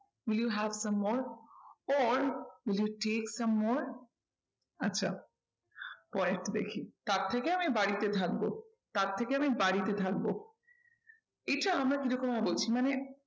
Will you have some more or wil you take some more আচ্ছা পরেরটা দেখি তার থেকে আমি বাড়িতে থাকবো, তার থেকে আমি বাড়িতে থাকবো। এটা আমরা কি রকম ভাবে বলছি মানে